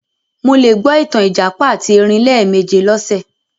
Mo le gbọ ìtàn ìjàpá àti erin lẹ́ẹ̀méje lọ́sẹ̀